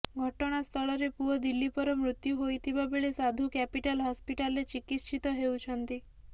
ଘଟଣାସ୍ଥଳରେ ପୁଅ ଦିଲ୍ଲୀପର ମୃତ୍ୟୁ ହୋଇଥିବାବେଳେ ସାଧୁ କ୍ୟାପିଟାଲ ହସ୍ପିଟାଲରେ ଚିକିତ୍ସିତ ହେଉଛନ୍ତି